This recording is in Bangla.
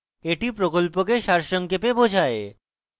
এটি প্রকল্পকে সারসংক্ষেপে বোঝায়